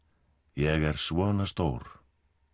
ég er svona stór